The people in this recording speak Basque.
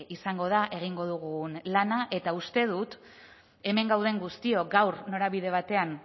izango da egingo dugun lana eta uste dut hemen gauden guztiok gaur norabide batean